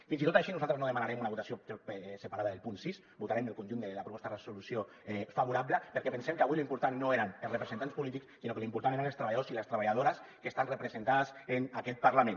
fins i tot així nosaltres no demanarem una votació separada del punt sis votarem el conjunt de la proposta de resolució favorable perquè pensem que avui lo important no eren els representants polítics sinó que lo important eren els treballadors i les treballadores que estan representades en aquest parlament